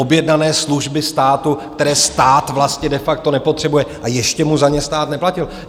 Objednané služby státu, které stát vlastně de facto nepotřebuje, a ještě mu za ně stát neplatil.